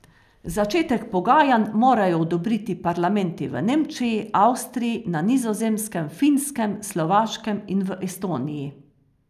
Začetek pogajanj morajo odobriti parlamenti v Nemčiji, Avstriji, na Nizozemskem, Finskem, Slovaškem in v Estoniji.